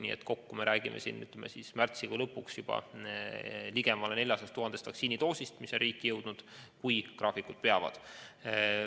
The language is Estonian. Nii et märtsikuu lõpus võime rääkida juba ligemale 400 000 vaktsiinidoosist, mis peavad olema riiki jõudnud, juhul kui graafikud peavad.